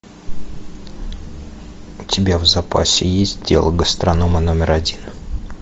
у тебя в запасе есть дело гастронома номер один